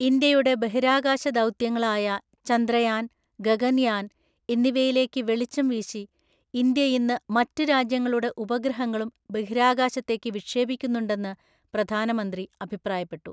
ഇന്ത്യയുടെ ബഹിരാകാശദൗത്യങ്ങളായ ചന്ദ്രയാൻ, ഗഗൻയാൻ എന്നിവയിലേക്കു വെളിച്ചംവീശി, ഇന്ത്യയിന്നു മറ്റു രാജ്യങ്ങളുടെ ഉപഗ്രഹങ്ങളും ബഹിരാകാശത്തേക്കു വിക്ഷേപിക്കുന്നുണ്ടെന്നു പ്രധാനമന്ത്രി അഭിപ്രായപ്പെട്ടു.